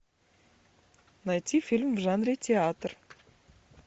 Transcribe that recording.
найти фильм в жанре театр